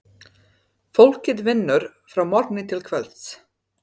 Fólkið vinnur frá morgni til kvölds.